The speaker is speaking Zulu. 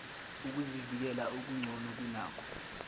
ukuzivikela okugcono kunakho